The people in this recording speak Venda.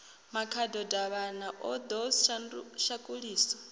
makhado davhana o ḓo shakuliswa